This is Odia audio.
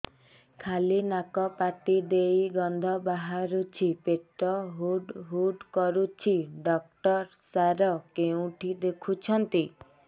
ଖାଲି ନାକ ପାଟି ଦେଇ ଗଂଧ ବାହାରୁଛି ପେଟ ହୁଡ଼ୁ ହୁଡ଼ୁ କରୁଛି ଡକ୍ଟର ସାର କେଉଁଠି ଦେଖୁଛନ୍ତ